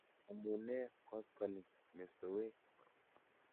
Amu nee koskoling mestowek?